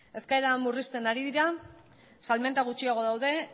eskaerak murrizten ari dira salmenta gutxiago daude